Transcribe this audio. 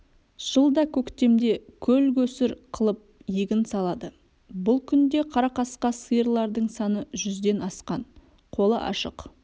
жылда көктемде көлгөсір қылып егін салады бұл күнде қара қасқа сиырлардың саны жүзден асқан қолы ашық